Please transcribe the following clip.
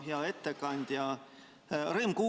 Hea ettekandja!